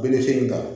in ta